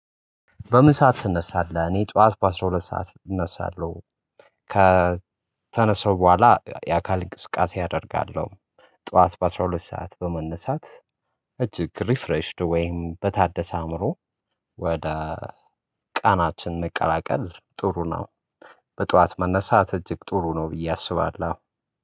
በምን ሰዓት ትነሳለህ? እኔ ጠዋት በአሥራ ሁለት ሰዓት እነሳለሁ ከተነሳው በኋላ የአካል እንቅስቃሴ አደርጋለሁ። ጠዋት በአሥራ ሁለት ሰዓት በመነሳት እጅግ ሪፍሬሽድ ወይም በታደሰ አእምሮ ወደ ቀናችን መቀላቀል ጥሩ ነው። በጧት መነሳት እጅግ ጥሩ ነው ብዬ አስባለሁ።